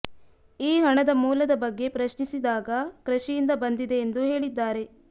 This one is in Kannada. ಈ ಹಣದ ಮೂಲದ ಬಗ್ಗೆ ಪ್ರಶ್ನಿಸಿದಾಗ ಕೃಷಿಯಿಂದ ಬಂದಿದೆ ಎಂದು ಹೇಳಿದ್ದಾರೆ